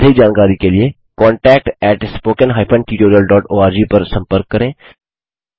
अधिक जानकारी के लिए contactspoken tutorialorg पर संपर्क करें